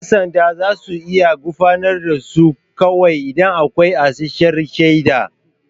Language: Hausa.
Yan sanda za su iya gurfanar da su kawai idan akwai isasshiyar shaida.